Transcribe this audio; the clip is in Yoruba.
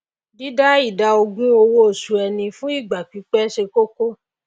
dídá ìdá ogún owó osù ẹni fún ìgbà pípé se kókó